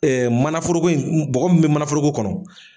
Manaforoko in bɔgɔ mun bɛ manaforoko kɔnɔ.